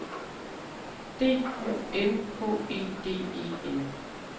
D U M H E D E N